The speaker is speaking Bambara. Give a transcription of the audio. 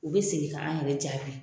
U bɛ segin ka an yɛrɛ jaabi